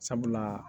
Sabula